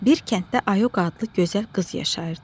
Bir kənddə Ayoqa adlı gözəl qız yaşayırdı.